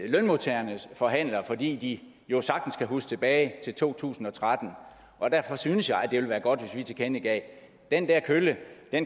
lønmodtagernes forhandlere fordi de jo sagtens kan huske tilbage til to tusind og tretten og derfor synes jeg det ville være godt hvis vi tilkendegav den der kølle